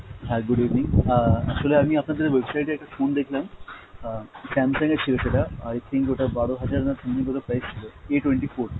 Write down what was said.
hi, good evening, আহ আসলে আমি আপনাদের website এ একটা phone দেখলাম, আহ Samsung এর ছিল সেটা। i think ওটা বারো হাজার না something বোধ হয় price ছিল, A twenty four।